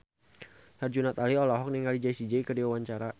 Herjunot Ali olohok ningali Jessie J keur diwawancara